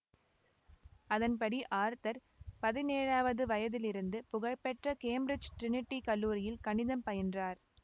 அதன்படி ஆர்தர் பதினேழாவது வயதிலிருந்து புகழ்பெற்ற கேம்பிரிட்ஜ் ட்ரினிடி கல்லூரியில் கணிதம் பயின்றார்